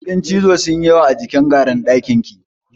Kuɗin cizo sun yi yawa a jikin garun ɗakina.